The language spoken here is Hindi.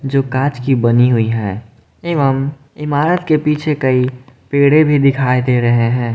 जो कांच की बनी हुई है एवं इमारत के पीछे कई पेड़े भी दिखाई दे रहे हैं।